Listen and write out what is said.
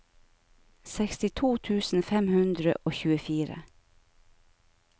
sekstito tusen fem hundre og tjuefire